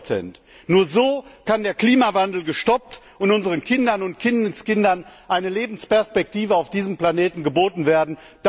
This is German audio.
30 Nur so kann der Klimawandel gestoppt und unseren Kindern und Kindeskindern eine Lebensperspektive auf diesem Planeten geboten werden.